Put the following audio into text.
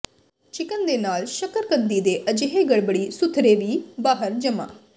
chicken ਦੇ ਨਾਲ ਸ਼ੱਕਰਕੰਦੀ ਦੇ ਅਜਿਹੇ ਗੜਬੜੀ ਸੁਥਰੇ ਵੀ ਬਾਹਰ ਜਮਾ